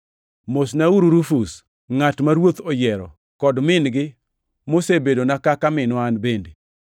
Mosnauru Rufus, ngʼat ma Ruoth oyiero kod min-gi mosebedona kaka minwa an bende.